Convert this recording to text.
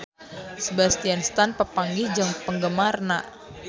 Sebastian Stan papanggih jeung penggemarna